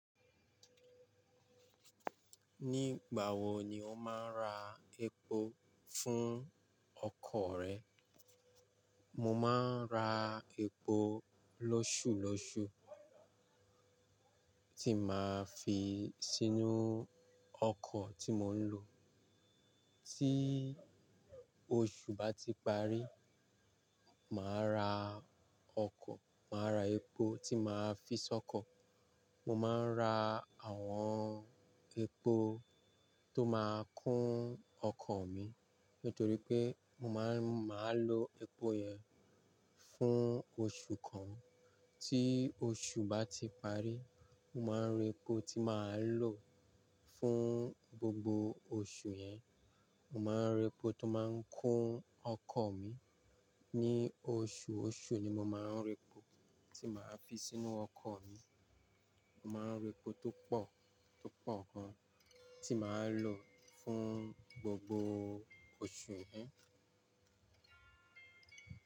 Nígbà wo ni o máa ń ra epo fún ọkọ̀ rẹ? Mo máa ń ra epo lọ́ṣù lọṣu tí màá fi sínú ọkọ̀ tí mò ń lo. Tí oṣù bá ti parí, màá ra ọkọ̀, màá ra epo tí màá fi sọ́kọ̀. Mo máa ń ra àwọn epo tó máa ń kún ọkọ̀ mi nítorí pé mo máa ń, màá lo epo yẹn fún oṣù kan. Tí oṣù bá ti parí, mo máa ń ra epo tí màá lò fún gbogbo oṣù yẹn. Mo máa ń ra epo tó máa ń kún ọkọ̀ mi. Ni oṣùọṣù ni mo máa ń ra epo tí màá fi sínú ọkọ̀ mi. Mo máa ń ra epo tó pọ̀, tó pọ̀ gan tí màá lò fún gbogbo oṣù yẹn.